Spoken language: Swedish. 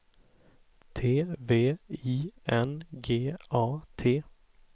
T V I N G A T